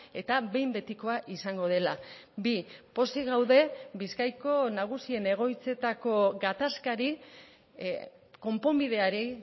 eta behin betikoa izango dela bi pozik gaude bizkaiko nagusien egoitzetako gatazkari konponbideari